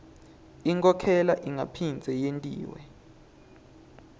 inkhokhela ingaphindze yentiwa